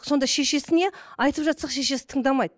сонда шешесіне айтып жатсақ шешесі тыңдамайды